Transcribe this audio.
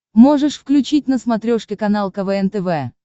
можешь включить на смотрешке канал квн тв